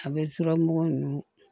A bɛ suramugu ninnu